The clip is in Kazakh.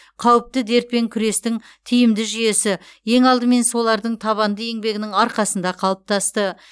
қауіпті дертпен күрестің тиімді жүйесі ең алдымен солардың табанды еңбегінің арқасында қалыптасты